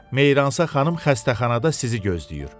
Meyransa xanım xəstəxanada sizi gözləyir.